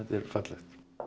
er fallegt